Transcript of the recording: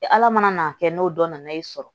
Ala mana n'a kɛ n'o dɔ nana i sɔrɔ